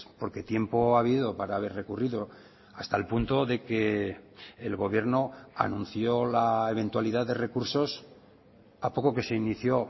porque tiempo ha habido para haber recurrido hasta el punto de que el gobierno anunció la eventualidad de recursos a poco que se inició